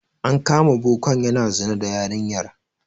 An kama bokan yana zina da yarinyar.